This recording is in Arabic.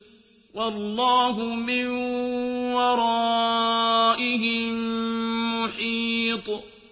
وَاللَّهُ مِن وَرَائِهِم مُّحِيطٌ